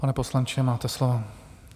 Pane poslanče, máte slovo.